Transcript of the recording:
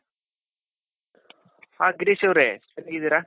ಹಾ ಗಿರೀಶ್ ಅವ್ರೆ ಚೆನ್ನಾಗಿದ್ದೀರ ?